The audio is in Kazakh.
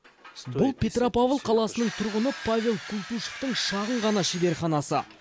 бұл петропавл қаласының тұрғыны павел култышевтың шағын ғана шеберханасы